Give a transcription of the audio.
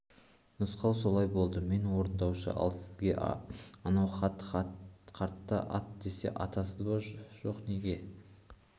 нұсқау солай болды мен орындаушы ал сізге анау ахат қартты ат десе атасыз ба жоқ неге